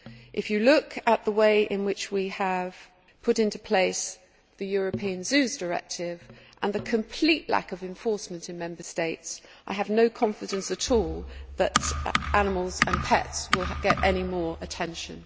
If you look at the way in which we have put into place the European Zoos Directive and the complete lack of enforcement in Member States, I have no confidence at all that wild animals and pets will get any more attention.